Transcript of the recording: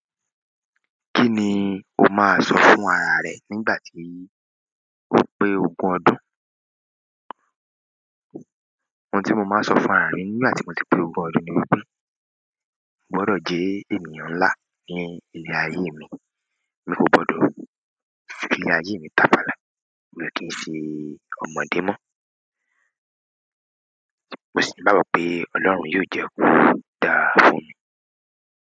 Kí ni o máa sọ fún ara rẹ nígbà tí o pé ogún ọdún? Ohun tí mo máa n sọ fún ara mi nígbà tí mo ti pé ogún ọdún ni wípé, "Mo gbọdọ̀ jẹ́ ènìyàn ńlá ní ilé ayé mi, mi kò gbọdọ̀ fi ayé mi táfalà, mi o kí ń ṣe ọmọdé mọ́. Mo sì ńigbagbọ́ pé Ọlọ́run yóò jẹ́ ko dáa fún mi."